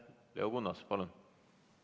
Leo Kunnas, palun!